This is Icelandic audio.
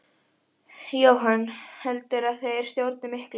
Jóhann: Heldurðu að þeir stjórni miklu?